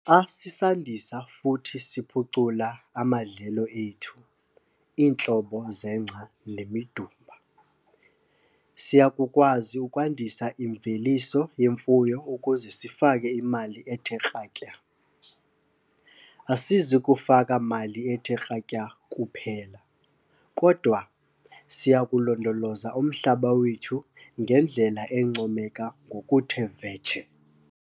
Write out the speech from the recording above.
Xa sisandisa futhi siphucula amadlelo ethu, "iintlobo zengca nemidumba, siya kukwazi ukwandisa imveliso yemfuyo ukuze sifake imali ethe kratya. Asizi kufaka mali ethe kratya kuphela, kodwa siya kulondoloza umhlaba wethu ngendlela encomeka ngokuthe vetshe."